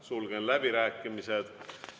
Sulgen läbirääkimised.